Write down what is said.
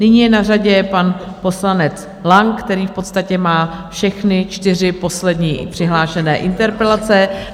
Nyní je na řadě pan poslanec Lang, který v podstatě má všechny čtyři poslední přihlášené interpelace.